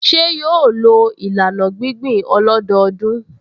Ṣé yóò lo ìlànà gbíngbìn ọlọ́dọọdún?